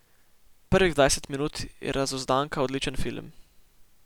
Prvih dvajset minut je Razuzdanka odličen film.